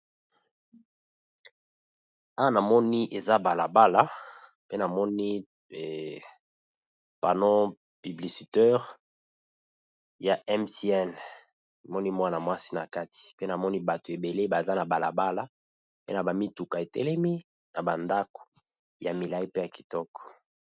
Awa na moni eza bala bala pe na moni panneau publicitaire ya Mtn, na moni mwana mwasi na kati pe na moni bato ébélé, baza na bala bala pe na ba mituka e telemi na ba ndako ya milayi pe ya kitoko .